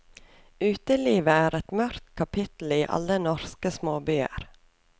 Uteliv er et mørkt kapitel i alle norske småbyer.